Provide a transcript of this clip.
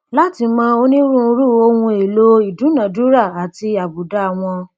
láti mọ onírúurú ohun èèlò ìdúnnàdúnrà àti àbùdá wọn